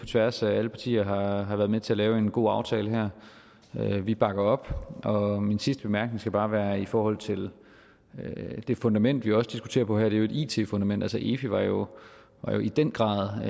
tværs af alle partier har været med til at lave en god aftale her og vi bakker op min sidste bemærkning skal bare være i forhold til det fundament vi også diskuterer på her det er jo et it fundament altså efi var jo i den grad